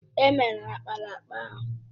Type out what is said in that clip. È mere ákpáraàkpà ahụ